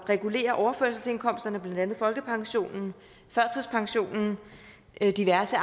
regulere overførselsindkomsterne blandt andet folkepensionen førtidspensionen og diverse